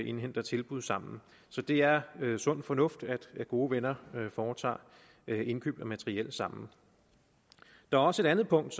indhenter tilbud sammen så det er sund fornuft at gode venner foretager indkøb af materiel sammen der er også et andet punkt